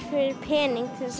pening til